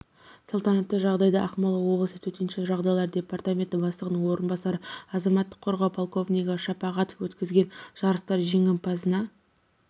салтанатты жағдайда ақмола облысы төтенше жағдайлар департаменті бастығының орынбасары азаматтық қорғау полковнигі шапағатов өткізілген жарыстар жеңімпазына